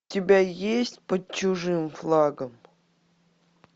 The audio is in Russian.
у тебя есть под чужим флагом